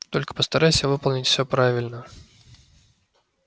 только постарайся выполнить всё правильно